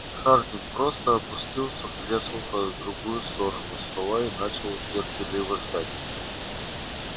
хардин просто опустился в кресло по другую сторону стола и начал терпеливо ждать